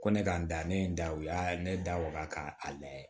Ko ne ka n da ne ye n da u y'a ne da waga ka a layɛ